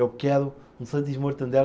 Eu quero um sanduíches de Mortadela.